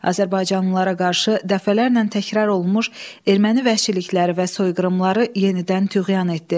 Azərbaycanlılara qarşı dəfələrlə təkrar olunmuş erməni vəhşilikləri və soyqırımları yenidən tüğyan etdi.